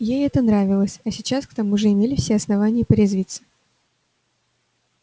ей это нравилось а сейчас к тому же имелись все основания порезвиться